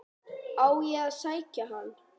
Á ég að sækja hann?